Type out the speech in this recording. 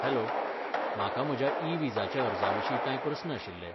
Hello, म्हाका म्हज्या e विजाच्या अर्जाविशीं कांय प्रस्न आशिल्ले.